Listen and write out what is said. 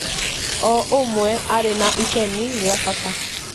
o omwe arĩ na itemi rĩa bata